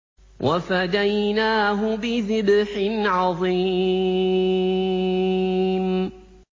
وَفَدَيْنَاهُ بِذِبْحٍ عَظِيمٍ